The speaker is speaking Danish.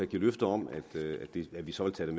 give løfter om at at vi så vil tage